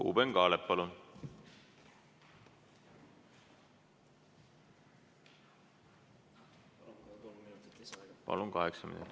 Ruuben Kaalep, palun!